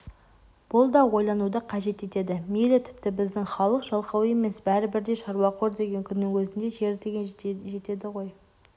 бұл да ойлануды қажет етеді мейлі тіпті біздің халық жалқау емес бәрі бірдей шаруақор деген күннің өзінде жер деген жетеді ғой